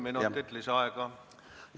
Palun, kolm minutit lisaaega!